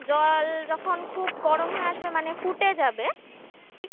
জল যখন খুব গরম হয়ে আসবে মানে ফুটে যাবে ঠিক